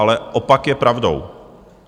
Ale opak je pravdou.